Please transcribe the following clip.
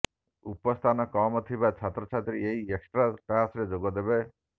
ଉପସ୍ଥାନ କମ ଥିବା ଛାତ୍ରଛାତ୍ରୀ ଏହି ଏକ୍ସଟ୍ରା କ୍ଲାସରେ ଯୋଗଦେବେ